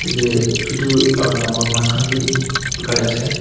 Eteh chutu aro dangor mass khan bhi bekai ase.